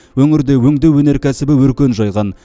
өңірде өңдеу өнеркәсібі өркен жайған